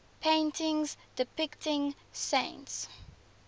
paintings depicting saints